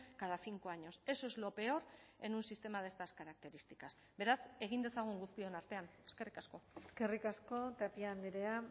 cada cinco años eso es lo peor en un sistema de estas características beraz egin dezagun guztion artean eskerrik asko eskerrik asko tapia andrea